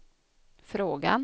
frågan